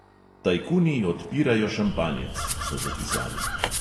"Tajkuni odpirajo šampanjec," so zapisali.